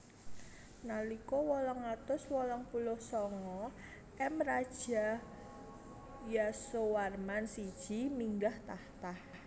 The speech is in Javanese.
Nalika wolung atus wolung puluh sanga M Raja Yasowarman siji minggah takhta